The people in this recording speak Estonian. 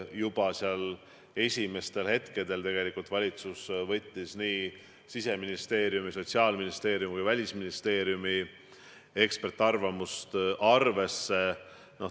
Juba esimestel hetkedel tegelikult valitsus võttis nii Siseministeeriumi, Sotsiaalministeeriumi kui ka Välisministeeriumi eksperdiarvamusi arvesse.